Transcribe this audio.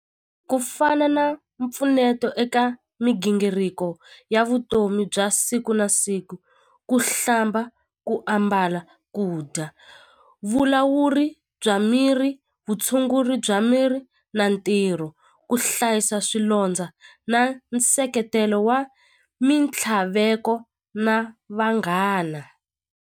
Ku fana na mpfuneto eka migingiriko ya vutomi bya siku na siku ku hlamba ku ambala ku dya vulawuri bya miri vutshunguri bya miri na ntirho ku hlayisa swilondza na nseketelo wa mitlhaveko na vanghana.